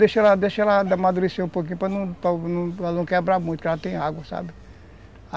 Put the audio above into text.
Deixa ela deixa ela amadurecer um pouquinho, para não quebrar muito, porque ela tem água, sabe?